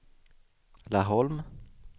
Laholm